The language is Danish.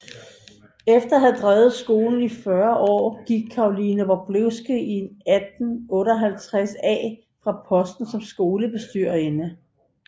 Efter at have drevet skolen i 40 år gik Caroline Wroblewsky i 1858 af fra posten som skolebestyrerinde